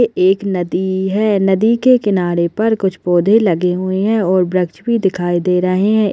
एक नदी है नदी के किनारे पर कुछ पौधे लगे हुए है और वृक्ष भी दिखाई दे रहे है।